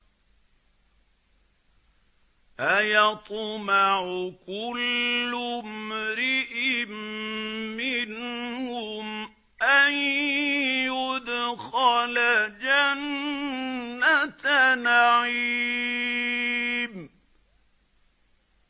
أَيَطْمَعُ كُلُّ امْرِئٍ مِّنْهُمْ أَن يُدْخَلَ جَنَّةَ نَعِيمٍ